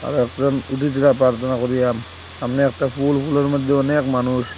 তারপর উঠেছিলা প্রার্থনা করিয়াম সামনে একটা ফুল ফুলের মধ্যে অনেক মানুষ।